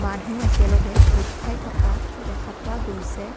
মানুহ একেলগে গোট খাই থকা দেখা পোৱা গৈছে।